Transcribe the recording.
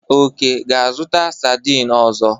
Oke ga-azụta saidin ọzọ.